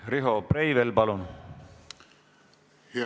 Riho Breivel, palun!